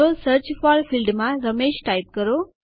તો search for ફિલ્ડમાં Ramesh type કરો